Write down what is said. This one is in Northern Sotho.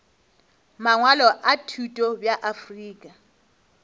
mangwalo a thuto bja afrika